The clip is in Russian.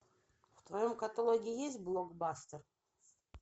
в твоем каталоге есть блокбастер